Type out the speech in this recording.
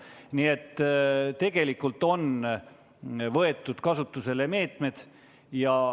Nii et tegelikult on meetmed kasutusele võetud.